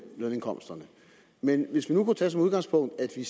lønindkomsterne men hvis vi kunne tage det udgangspunkt at vi